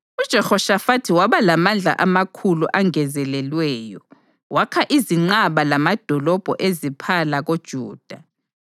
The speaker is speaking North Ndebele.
UJehoshafathi waba lamandla amakhulu angezelelweyo, wakha izinqaba lamadolobho eziphala koJuda